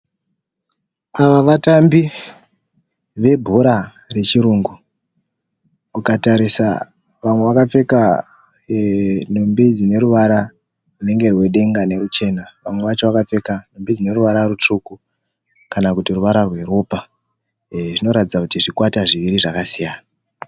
Ava vatambi webhora rechirungu. Ukatarisa, vamwe vakapfeka nhumbi dzineruvara runenge rwedenga neruchena. Vamwe vacho vakapfeka nhumbi dzineruvara rutsvuku kana kuti ruvara rweropa. Zvinoratidza kuti zvikwata zviviri zvakasiyana.